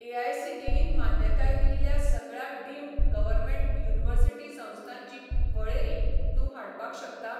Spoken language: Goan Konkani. एआयसीटीईन मान्यताय दिल्ल्या सगळ्या डीम्ड गव्हर्मेंट युनिव्हर्सिटी संस्थांची वळेरी तूं हाडपाक शकता?